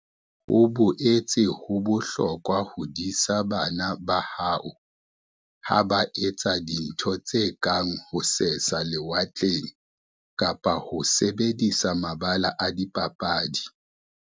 Ho boetse ho bohlokwa ho disa bana ba hao ha ba etsa dintho tse kang ho sesa lewatle kapa ho sebedisa mabala a dipapadi.